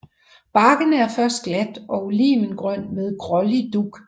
Barken er først glat og olivengrøn med grålig dug